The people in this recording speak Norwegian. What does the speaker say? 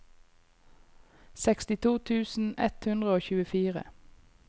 sekstito tusen ett hundre og tjuefire